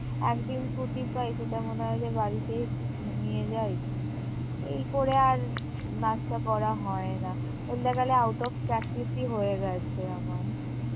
একদিন ছুটি পাই সেটা মনে হয় যে বাড়িতেই একটু ঘুমিয়ে যাই এই করে আর নাচটা করা হয় না বলতে গেলে out of practice ই হয়ে গেছে আমার